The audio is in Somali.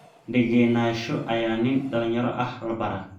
Degenaansho ayaa nin dhalinyaro ah la baraa